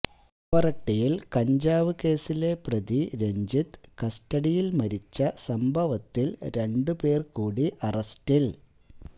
പാവറട്ടിയില് കഞ്ചാവ് കേസിലെ പ്രതി രഞ്ജിത്ത് കസ്റ്റഡിയില് മരിച്ച സംഭവത്തില് രണ്ട് പേര് കൂടി അറസ്റ്റില്